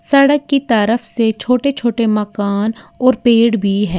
सड़क की तरफ से छोटे छोटे मकान और पेड़ भी है।